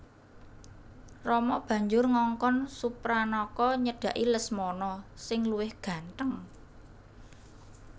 Rama banjur ngongkon Supranaka nyedhaki Lesmana sing luwih gantheng